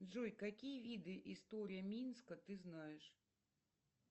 джой какие виды истории минска ты знаешь